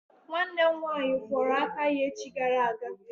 Nwanne m nwaanyị kwụrụ aka ya echi gara aga.